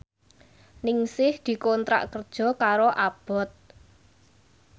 Ningsih dikontrak kerja karo Abboth